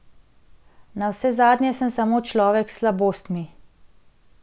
Navsezadnje sem samo človek s slabostmi.